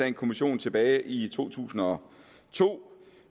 en kommission tilbage i to tusind og to